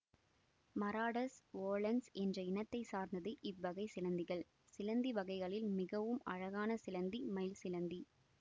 Maratus volans என்ற இனத்தை சார்ந்தது இவ்வகை சிலந்திகள் சிலந்தி வகைகளில் மிகவும் அழகான சிலந்தி மயில் சிலந்தி